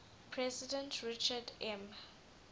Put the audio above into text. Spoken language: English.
president richard m